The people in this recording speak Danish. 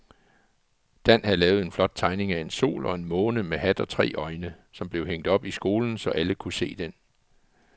Dan havde lavet en flot tegning af en sol og en måne med hat og tre øjne, som blev hængt op i skolen, så alle kunne se den.